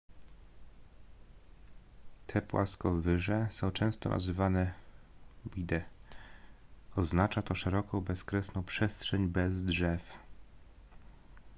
te płaskowyże są często nazywane vidde oznacza to szeroką bezkresną przestrzeń bez drzew